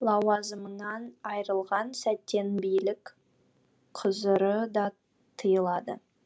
лауазымынан айырылған сәттен билік қүзыры да тыйылады